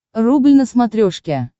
рубль на смотрешке